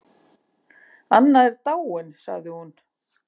Anna er dáin sagði hún.